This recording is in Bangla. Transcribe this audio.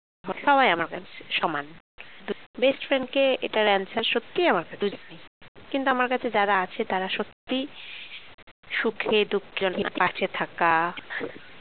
সবাই আমার কাছে সমান best friend কে সত্যি এটার answer আমার কাছে নেই কিন্তু আমার কাছে যারা আছে তারা সত্যিই সুখে দুঃখে অনেক পাশে থাকা